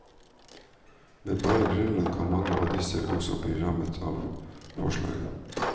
Med bare grunnlønn kan mange av disse også bli rammet av forslaget.